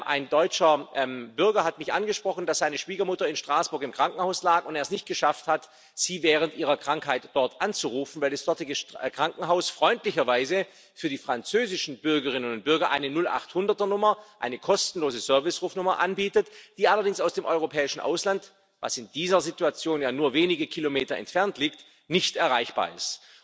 Ein deutscher Bürger hat mich angesprochen, dass seine Schwiegermutter in Straßburg im Krankenhaus lag und er es nicht geschafft hat, sie während ihres Aufenthalts dort anzurufen, weil das dortige Krankenhaus freundlicherweise für die französischen Bürgerinnen und Bürger eine 0800er Nummer eine kostenlose Servicerufnummer anbietet, die allerdings aus dem europäischen Ausland, das in dieser Situation ja nur wenige Kilometer entfernt liegt, nicht erreichbar ist.